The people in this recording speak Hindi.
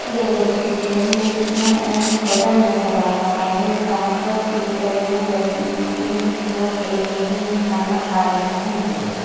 यह एक चित्र है जिसमें एक होटल नजर आ रहा है यहाँ पर दो टेबल लगी हुई हैं कुछ लोग बैठे हैं खाना खा रहे हैं।